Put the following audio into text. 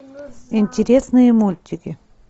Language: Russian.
интересные мультики